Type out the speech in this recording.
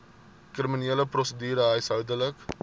kriminele prosedure huishoudelike